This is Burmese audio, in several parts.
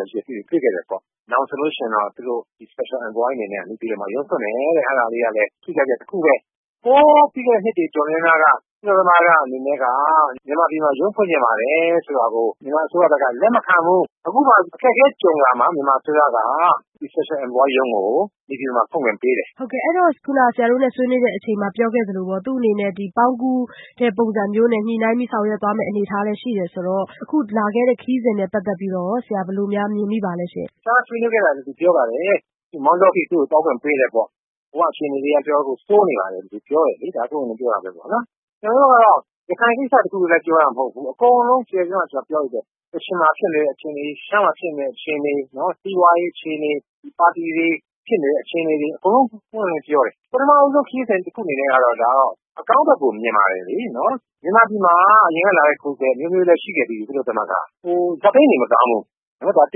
ရာရှိတဲ့လူတွေနဲ့ တွေ့တယ် ။ နောက်ပြီး special envoy အနေနဲ့ နေပြည်တော်မှာ ရုံးဖွင့်မယ် အဲဒါကလည်း ထူးခြားချက်တခုပဲ။ လွန်ခဲ့တဲ့ နှစ်တွေ တော်တော်များများက ကုလသမဂ္ဂအနေနဲ့က မြန်မာပြည်မှာ ရုံးဖွင့်ချင်တာကို မြန်မာအစိုးရက လက်မခံဘူး။ အခုတော့ မြန်မာအစိုးရက special envoy ရုံးကို နေပြည်တော်မှာ ဖွင့်ခွင့်ပေးတယ်။ အဲဒီတော့ ခုနကပြောခဲ့သလို သူ့အနေနဲ့ ပေါင်းကူးတံတားပုံစံမျိုး ညှိနှိုင်းပြီးဆောင်ရွက်သွားမယ့်အနေအထားလည်းရှိတယ်ဆိုတော့ အခုလာတဲ့ခရီးစဉ်နဲ့ ပတ်သက်ပြီးတော့ ဘယ်လိုများမြင်မိပါသလဲ။ အဲဒါလည်း သူပြောပါတယ် မောင်တောအထိ သူ့ကိုသွားခွင့်ပေးတယ်ပေါ့။ ဟိုကအခြေအနေက တော်တော်ဆိုးနေတယ်ဆိုတာကို သူပြောတယ်လေ။ ဒါပွင့်ပွင့်လင်းလင်းပြောတာ ကျနော်တို့ကတော့ ရခိုင်ကိစ္စတခုတည်းပြောတာမဟုတ်ဘူး။ အကုန်လုံးခြုံပြီးတော့ ပြောလိုက်တယ် ကချင်မှာဖြစ်နေတဲ့အခြေအနေတွေ ၊ ရှမ်းမှာဖြစ်နေတဲ့အခြေအနေ၊ စီးပွားရေး အခြေအနေ၊ ပါတီတွေ ဖြစ်နေတဲ့ အခြေအနေတွေကို ပွင့်ပွင့်လင်းလင်းပြောတယ်။ ပထမဦးဆုံးခရီးစဉ်တခုအနေနဲ့ကတော့ အကောင်းဘယ်ကို မြင်ပါတယ်။ မြန်မာပြည်မှာ အရင်ကလာတဲ့ ကိုယ်စားလှယ်အမျိုးမျိုးလည်း ရှိခဲ့ပြီးပြီ ကုလသမဂ္ဂဘက်က ။ အခြေအနေသိပ်မကောင်းဘူး ဒါက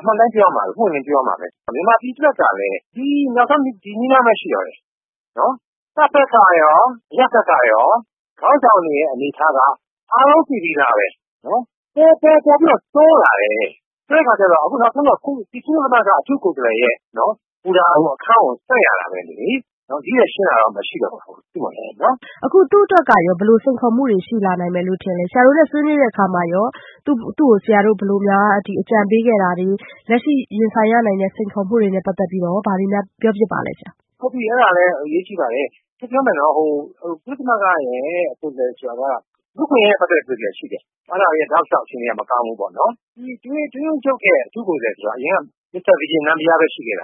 အမှန်အတိုင်းပြောရမှာပဲ ပွင့်ပွင့်လင်းလင်းပြောရမှာပဲ။ မြန်မာပြည်အတွက်ကလည်း နောက်ဆုံးဒီနည်းလမ်းပဲ ရှိတော့တယ်။တပ်ဘက်ကရော အရပ်ဘက်ကရော ခေါင်းဆောင်တွေရဲ့အနေအထားက အားလုံးသိပြီးသားပဲ ပိုပြီးတော့ ဆိုးလာတယ်။ အခုနောက်ဆုံး ကုလသမဂ္ဂအတွင်းရေးမှူးချုပ်ရဲ့ အထူးကိုယ်စားလှယ်ရုံးဖွင့်ရမှာပဲလေ ဒီထက်ရှင်းတာကတော့ မရှိတော့ဘူး။ အခုသူ့အတွက်က ဘယ်လိုစိန်ခေါ်မှုတွေရှိလာနိုင်မလဲ၊ ဆရာတို့နဲ့ ဆွေးနွေးတဲ့အခါ သူ့ကိုဘယ်လိုများအကြံပေးခဲ့တာတွေ လက်ရှိရင်ဆိုင်ရနိုင်တဲ့ စိန်ခေါ်မှုတွေနဲ့ ပတ်သက်ပြီး ဘာတွေများပြောခဲ့ပါသလဲ။ အဲဒါအရေးကြီးပါတယ်။ ကုလသမဂ္ဂရဲ့ အထူးကိုယ်စားလှယ်က လူ့အခွင့်အရေးနဲ့ပတ်သက်တဲ့ ကိုယ်စားလှယ်ရှိတယ် အဲဒါကတော့ တောက်လျောက် အခြေအနေမကောင်းဘူး ကုလသမဂ္ဂအတွင်းရေးမှူးချုပ်ရဲ့ အထူးကိုယ်စားလှယ်ဆိုတာက အရင်က မစ္စတာ နမ်ဘီးယားပဲ ရှိခဲ့တ